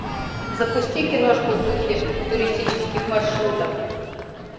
запусти киношку в духе туристических маршрутов